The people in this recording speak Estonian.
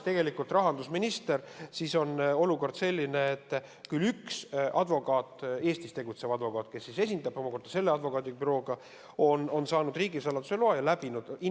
Nagu rahandusminister mu kõrval ütles, tegelikult on olukord selline, et üks advokaat, üks Eestis tegutsev advokaat, kes esindab omakorda seda advokaadibürood, on saanud riigisaladuse loa ja ka läbinud kontrolli.